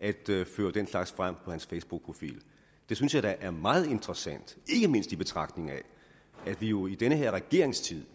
at føre den slags frem på hans facebookprofil det synes jeg da er meget interessant ikke mindst i betragtning af at vi jo i denne regerings tid